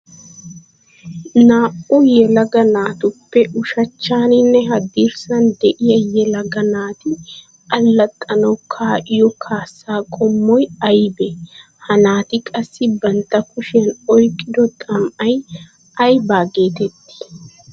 Naa'u yelaga naatuppe ushshanchchaninne hadirssani de'iya yelaga naati alaxxanawu kaa'iyo kaasa qommoy aybbe? Ha naati qassi bantta kushiyan oyqqido xami'ay aybba go'ii?